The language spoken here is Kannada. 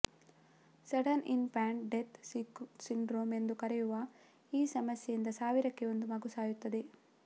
sudden infant death syndrome ಎಂದು ಕರೆಯುವ ಈ ಸಮಸ್ಯೆಯಿಂದ ಸಾವಿರಕ್ಕೆ ಒಂದು ಮಗು ಸಾಯುತ್ತದೆ